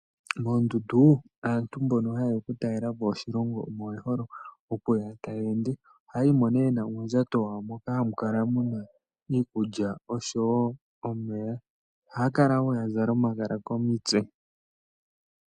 Moondundu aantu mbono ha yeya okutalelapo oshilongo oye hole okulala ta yeende. Ohaya yimo yena uundjato muna iikulya oshowo omeya ohaya kala yazala wonomagala komitse.